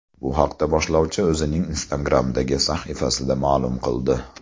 Bu haqda boshlovchi o‘zining Instagram’dagi sahifasida ma’lum qildi .